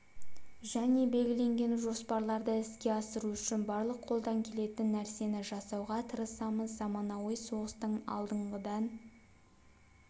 және белгіленген жоспарларды іске асыру үшін барлық қолдан келетін нәрсені жасауға тырысамыз заманауи соғыстың алдыңғыдан